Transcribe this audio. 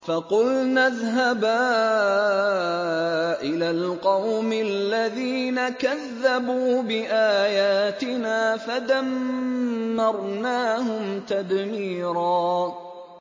فَقُلْنَا اذْهَبَا إِلَى الْقَوْمِ الَّذِينَ كَذَّبُوا بِآيَاتِنَا فَدَمَّرْنَاهُمْ تَدْمِيرًا